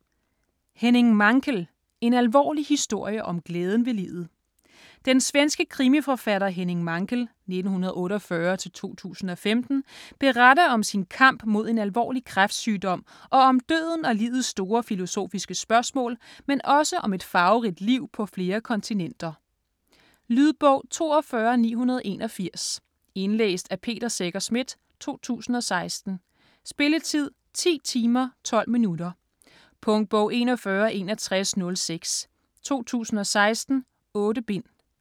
Mankell, Henning: En alvorlig historie om glæden ved livet Den svenske krimiforfatter Henning Mankell (1948-2015) beretter om sin kamp mod en alvorlig kræftsygdom og om døden og livets store filosofiske spørgsmål, men også om et farverigt liv på flere kontinenter. Lydbog 42981 Indlæst af Peter Secher Schmidt, 2016. Spilletid: 10 timer, 12 minutter. Punktbog 416106 2016. 8 bind.